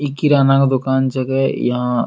इ किराना क दुकान छके यहां --